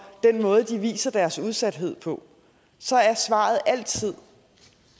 den måde det viser deres udsathed på så er svaret altid